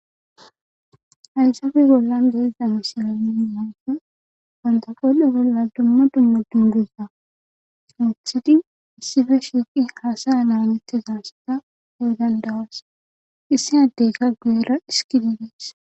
"Hayssape bollan de7iza misile nuni be7ishin banta qoodhe bolla dumma dumma dungguza wothidi issipe shiiqi hasa7a laametiza asata be7o danda7oos, Issi addeykka guyera dhiskidi dees."